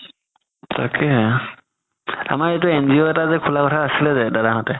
তাকেই আমাৰ এটো NGO এটা যে খুলা কথা আছিলে যে দাদা হ'তে